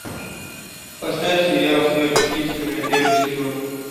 поставь сериал сверхъестественное первый сезон